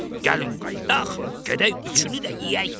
Gəlin qayıdaq, gedək üçünü də yeyək.